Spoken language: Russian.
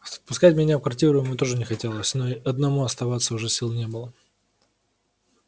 впускать меня в квартиру ему тоже не хотелось но и одному оставаться уже сил не было